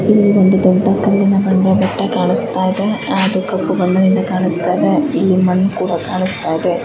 ಇಲ್ಲಿ ಒಂದು ದೊಡ್ಡ ಕಲ್ಲಿನ ಬಂಡೆ ಬೆಟ್ಟ ಕಾಣಿಸ್ತಾ ಇದೆ ಆಹ್ ಅದು ಕಪ್ಪು ಬಣ್ಣದಿಂದ ಕಾಣಿಸ್ತಾ ಇದೆ ಇಲ್ಲಿ ಮಣ್ಣು ಕೂಡ ಕಾಣಿಸ್ತಾ ಇದೆ.